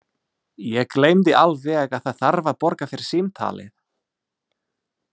Ég gleymdi alveg að það þarf að borga fyrir símtalið.